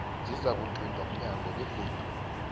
zizakuquntwa mnyango begodu